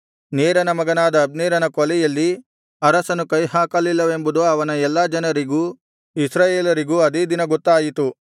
ನೇರನ ಮಗನಾದ ಅಬ್ನೇರನ ಕೊಲೆಯಲ್ಲಿ ಅರಸನು ಕೈಹಾಕಲಿಲ್ಲವೆಂಬುದು ಅವನ ಎಲ್ಲಾ ಜನರಿಗೂ ಇಸ್ರಾಯೇಲರಿಗೂ ಅದೇ ದಿನ ಗೊತ್ತಾಯಿತು